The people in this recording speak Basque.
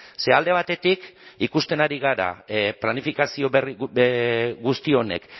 ze alde batetik ikusten ari gara planifikazio guzti honek